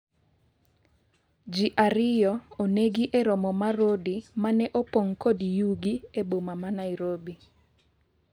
ji ariyo onegi e romo mar Rodi mane opong' kod yugi e boma ma Nairobi